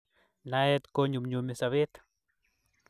Naet konyumyumi sobet